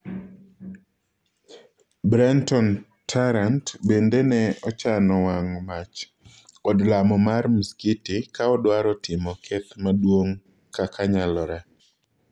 Brenton Tarrant bende ne ochano wang'o mach od lamo mar msikiti kaodwaro timo keth maduong' kakanyalore.